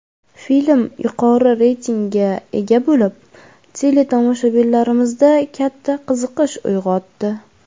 Film yuqori reytingga ega bo‘lib, teletomoshabinlarimizda katta qiziqish uyg‘otdi.